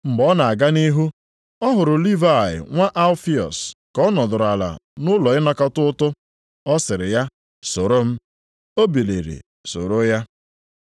Mgbe ọ na-aga nʼihu, ọ hụrụ Livayị nwa Alfiọs ka ọ nọdụrụ ala nʼụlọ ịnakọta ụtụ. Ọ sịrị ya, “Soro m,” o biliri sooro ya.